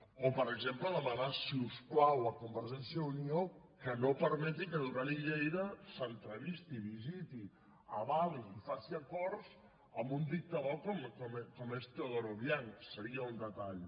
o per exemple demanar si us plau a convergència i unió que no permeti que duran i lleida s’entrevisti visiti avali i faci acords amb un dictador com és teodoro obiang seria un detall